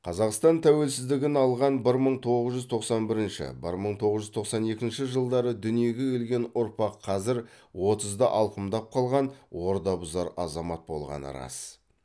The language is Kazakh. қазақстан тәуелсіздігін алған бір мың тоғыз жуз тоқсан бірінші бір мың тоғыз жуз тоқсан екінші жылдары дүниеге келген ұрпақ қазір отызды алқымдап қалған ордабұзар азамат болғаны рас